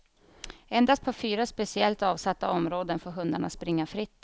Endast på fyra speciellt avsatta områden får hundarna springa fritt.